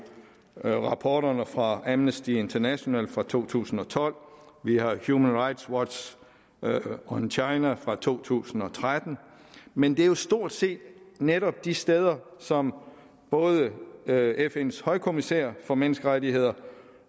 rapporterne fra amnesty international fra to tusind og tolv vi har human rights watchs on china fra to tusind og tretten men det er jo stort set netop de steder som både fns højkommissær for menneskerettigheder